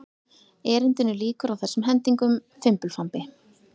Erindinu lýkur á þessum hendingum: Fimbulfambi